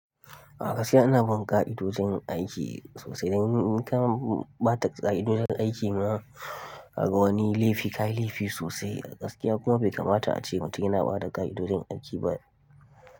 A gaskiya ina bin ƙa'idojin aiki sosai. Dan in ka bata ƙa'idodin aiki ma, ka ga wani laifi ka yi laifi sosai a gaskiya kuma bai kamata ace mutum yana bada ƙa'idodin aiki ba.